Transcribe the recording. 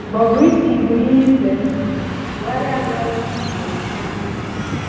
Bobrisky bụ ihe ìzèndụ̀, Bùhárì adọ̀ọ̀la ndị njem aka n’ntị.